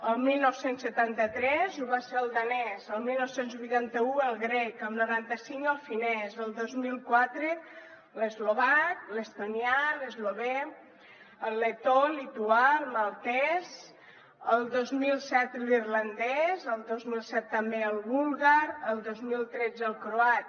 el dinou setanta tres ho va ser el danès el dinou vuitanta u el grec el noranta cinc el finès el dos mil quatre l’eslovac l’estonià l’eslovè el letó el lituà el maltès el dos mil set l’irlandès el dos mil set també el búlgar el dos mil tretze el croat